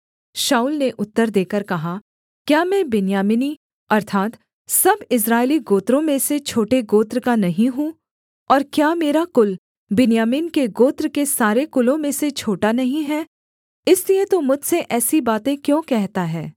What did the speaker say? शाऊल ने उत्तर देकर कहा क्या मैं बिन्यामीनी अर्थात् सब इस्राएली गोत्रों में से छोटे गोत्र का नहीं हूँ और क्या मेरा कुल बिन्यामीन के गोत्र के सारे कुलों में से छोटा नहीं है इसलिए तू मुझसे ऐसी बातें क्यों कहता है